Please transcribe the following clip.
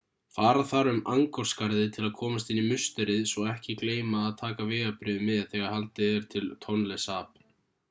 fara þarf um angkor-skarðið til að komast inn í musterið svo ekki gleyma að taka vegabréfið með þegar haldið er til tonle sap